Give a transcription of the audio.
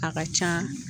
A ka ca